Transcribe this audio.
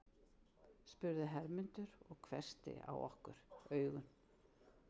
spurði Hermundur og hvessti á okkur augun.